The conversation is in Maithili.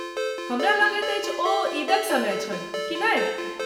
हमरा लगैत अछि ओ ईदक समय छल। कि नहि?